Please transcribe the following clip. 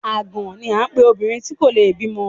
Àgàn ni à ń pe obìnrin tí ò le bímọ.